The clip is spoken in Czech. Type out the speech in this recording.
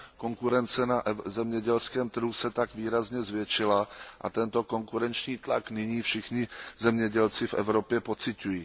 Konkurence na zemědělském trhu se tak výrazně zvětšila a tento konkurenční tlak nyní všichni zemědělci v Evropě pociťují.